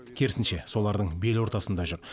керісінше солардың бел ортасында жүр